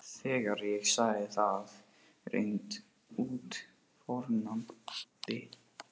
Þegar ég sagði það hreint út fórnaði